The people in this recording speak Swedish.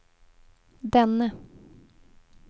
denne